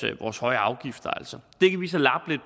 vores høje afgifter altså det kan vi så lappe